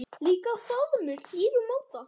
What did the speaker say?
Líka faðmur hlýr úr máta.